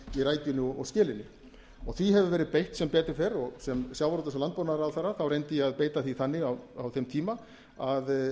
í rækjunni og skelinni því hefur verið beitt sem betur fer og sem sjávarútvegs og landbúnaðarráðherra reyndi ég að beita því þannig á þeim tíma að